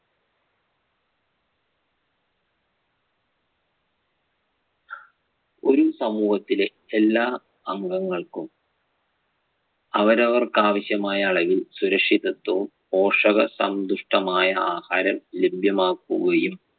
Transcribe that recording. ഒരു സമൂഹത്തിലെ എല്ലാ അംഗങ്ങൾക്കും അവരവർക്ക് ആവശ്യമായ അളവിൽ സുരക്ഷിതത്വവും, പോഷകസന്തുഷ്ടമായ ആഹാരം ലഭ്യമാക്കുകയും